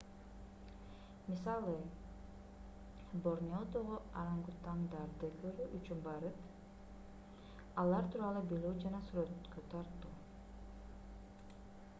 мисалы борнеодогу орангутангдарды көрүү үчүн барып алар тууралуу билүү жана сүрөткө тартуу